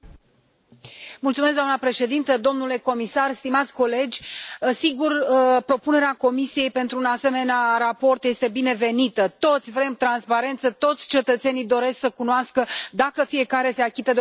Doamnă președinte, domnule comisar, stimați colegi, sigur, propunerea Comisiei pentru un asemenea raport este binevenită, toți vrem transparență, toți cetățenii doresc să cunoască dacă fiecare se achită de obligațiile fiscale.